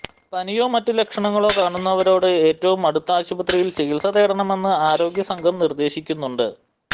പനിയോ മറ്റ് ലക്ഷണങ്ങളോ കാണുന്നവരോട് ഏറ്റവും അടുത്ത ആശുപത്രിയില് ചികിത്സ തേടണമെന്ന് ആരോഗ്യ സംഘം നിര്ദ്ദേശിക്കുന്നുണ്ട്